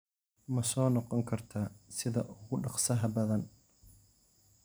Ma soo noqon kartaa sida ugu dhakhsaha badan?